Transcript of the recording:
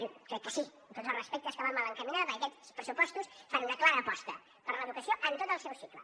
jo crec que sí amb tots els respectes que va mal encaminada perquè aquests pressupostos fan una clara aposta per l’educació en tot el seu cicle